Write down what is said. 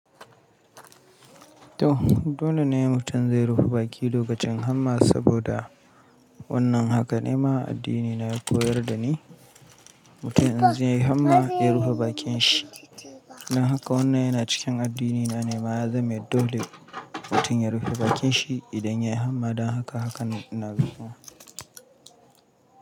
To dole ne mutum zai rufe baki lokacin hamma saboda wannan haka ne ma addini na yakoyar da ni. Mutum in zai yi hamma ya rufe bakin shi. Dan haka wannan yana cikin addini na ne ma ya zame dole mutum ya rufe bakin shi idan ya yi hamma. Don haka, haka na zaɓa.